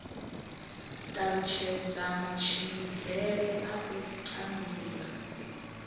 talutshedza matshimbidzele a u tandulula